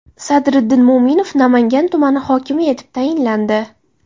Sadriddin Mo‘minov Namangan tumani hokimi etib tayinlandi.